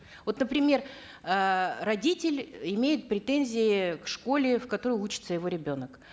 вот например эээ родитель имеет претензии к школе в которой учится его ребенок